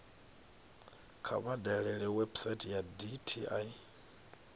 kha vha dalele website ya dti